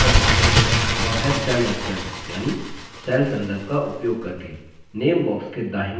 एक और तरीके से विशिष्ट cell तक पहुँच सकते हैं वह है cell reference यानि cell संदर्भ का उपयोग करके